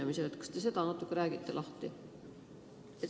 Kas te räägite selle natuke lahti?